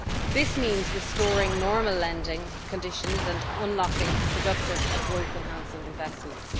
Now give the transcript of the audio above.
This means restoring normal lending conditions and unlocking productive and growth enhancing investments.